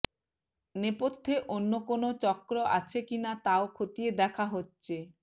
নেপথ্যে অন্য কোনও চক্র আছে কিনা তাও খতিয়ে দেখা হচ্ছে